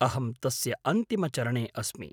अहं तस्य अन्तिमचरणे अस्मि।